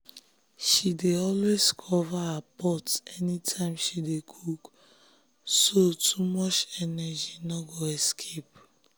she dey always cover her pot anytime she dey cook so too much energy no go escape.